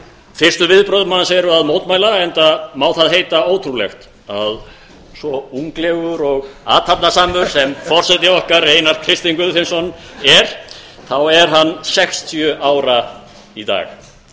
fyrstu viðbrögð manns eru að mótmæla enda má það heita ótrúlegt að svo unglegur og athafnasamur sem forseti okkar einar kristinn guðfinnsson er þá er hann sextíu ára í dag